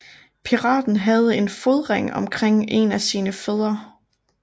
Piraten havde en fodring omkring en af sine fødder